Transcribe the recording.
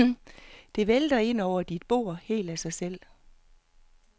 Det vælter ind over dit bord helt af sig selv.